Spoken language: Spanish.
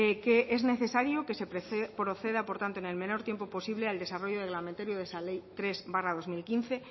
que es necesario que se proceda por tanto en el menor tiempo posible al desarrollo reglamentario de esa ley tres barra dos mil quince